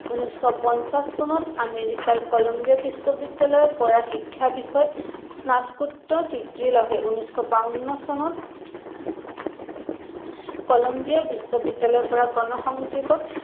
উনৈচশ পঞ্চাশ চনত আমেৰিকাৰ কলম্বিয়া বিশ্ববিদ্যালয়ৰ পৰা শিক্ষা বিষয়ত স্নাতকোত্তৰ degree লভে। উনৈচশ বাৱন্ন চনত কলম্বিয়া বিশ্ৱবিদ্যালয়ৰ পৰা গণসংযোগত